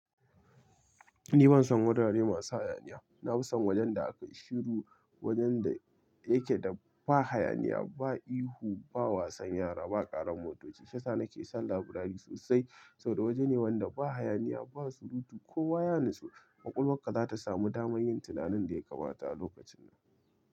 Ni ban son wurare masu hayaniya. Na fi son wajen da akai shiru, wajen da yake da ba hayaniya, ba ihu, ba wasan yara, ba ƙaran motoci. Shi yasa nake son laburari sosai saboda waje ne wanda ba hayaniya, ba surutu kowa ya nutsu. Kwakwalwarka za ta samu damar yin tunanin da ya kamata a lokacin.